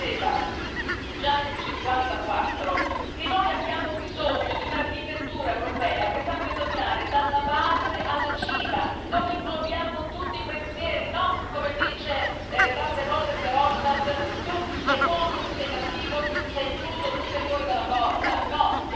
Lui diceva, già nel 1954, che noi abbiamo bisogno di un'architettura europea che sappia dominare dalla base alla cima, dove inglobiamo tutti i pensieri, e non, come dice tante volte Verhofstadt tu sei buono, tu sei cattivo, tu sei incluso, tu sei fuori dalla porta, no!